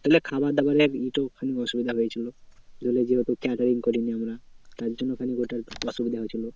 ধরলে খাবারদাবারের একটু খানি অসুবিধা হয়েছিল। ধরলে যেহেতু catering করিনি আমরা। তারজন্যে খানিক বটে অসুবিধা হয়েছিল।